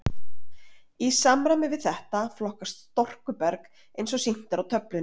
Í samræmi við þetta flokkast storkuberg eins og sýnt er á töflunni.